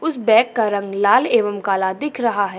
उस बेग का रंग लाल एवं काला दिख रहा है।